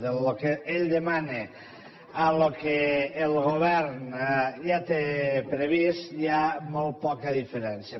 del que ell demana al que el govern ja té previst hi ha molt poca diferència